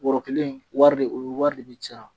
Bɔrɔ kelen wari de, o wari de bi sara.